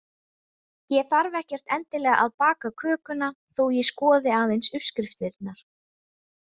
Ég þarf ekkert endilega að baka kökuna þó ég skoði aðeins uppskriftirnar.